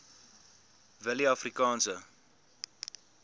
willieafrikaanse